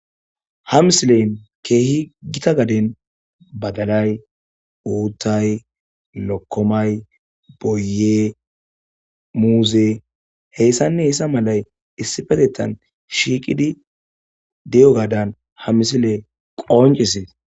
Ha misileyn keehi gita gaden badalay uuttay lokkomay boye muuze heyssanne heyssa malay issipetettan shiiqidi di'o gaadan ha misile qoncisees